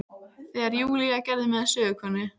Þegar Júlía gerði mig að sögukonu.